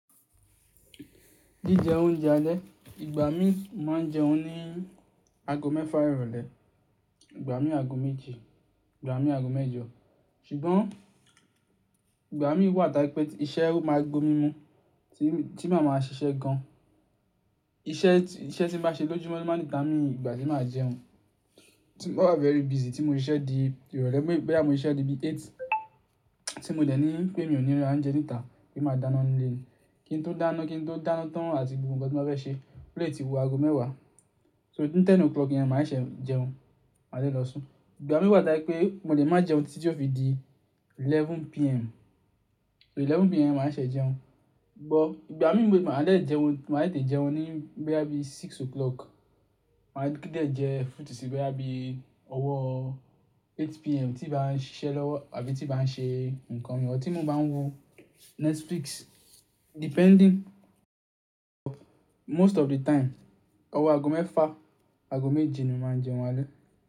Jíjẹ oúnjẹ alẹ́, ìgbà mí máa ń jẹun ní ago mẹ́fà ìrọ̀lẹ́, ìgbà mí ago méje, ìgbà mí ago mẹ́jọ. Ṣùgbọ́n ìgbà mí wà táí pé iṣẹ́ máa gomi mu tí màá máa ṣiṣẹ́ gan. Iṣẹ́ tí, iṣẹ́ tí màá ṣe lójúmọ́ ló máa dítamí ìgbà tí màá jẹun. Mo máa ń wa very busy tí mo ń ṣiṣẹ́ di ìrọ̀lẹ́, bí bá mu iṣẹ́ di bi eight, tí mo dẹ̀ ní pé mi ò níra jẹ níta, bí màá dáná nílé mi. Kí n tó dáná, kí n tó dáná tán àti gbogbo nǹkan tí mo fẹ́ ṣe, ó lè ti wu ago mẹ́wàá. So ní aago mẹ́wàá yẹn, màá ṣẹ̀ jẹun, máa dẹ̀ lọ sùn. Ìgbà mí wà táí pé mo lè máa jẹun títí ọ fí di aago mọ́kànlá alẹ́. So aago mọ́kànlá alẹ́ yẹn, màá ṣẹ̀ jẹun. Ṣùgbọ́n ìgbà mí wà táí máa dẹ̀ jẹun, màá lè jẹun ní bí i aago mẹ́fà. Màá lè kí jẹ fruit sí bí i ọwọ́ aago mẹ́jọ alẹ́ tí bá ń ṣiṣẹ́ lọ́wọ́ àbí tí bá ń ṣe nǹkan mìíràn, tí mo bá ń wo Netflix. Depending, most of the time, ọwọ́ ago mẹ́fà, ago méje ni mó máa ń jẹun alẹ́